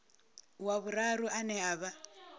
wa vhuraru ane a vha